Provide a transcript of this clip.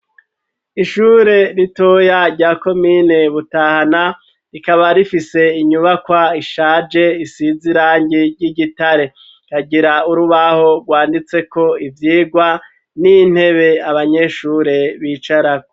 Ishure ritoya rya komine Butahana rikaba rifise inyubakwa ishaje isize irangi ry'igitare ikagira urubaho rwanditseko ivyigwa n'intebe abanyeshure bicarako.